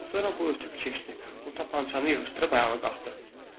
Sonra bu otürüb keçdi, o tapançanı yığışdırıb ayağa qalxdı.